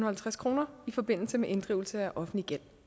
halvtreds kroner i forbindelse med inddrivelse af offentlig gæld